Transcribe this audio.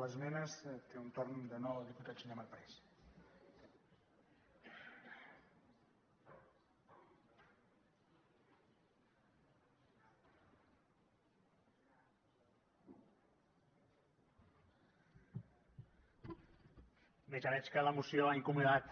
bé ja veig que la moció ha incomodat